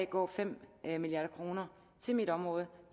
går fem milliard kroner til mit område